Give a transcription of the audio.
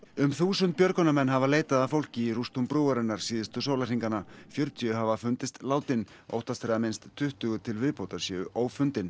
um þúsund björgunarmenn hafa leitað að fólki í rústum brúarinnar síðustu sólarhringana fjörutíu hafa fundist látin óttast er að minnst tuttugu til viðbótar séu ófundin